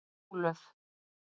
Ólöf